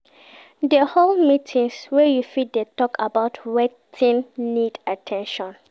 De hold meetings where you fit de talk about wetin need at ten tion